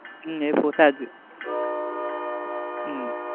હા એ પોસાય જ.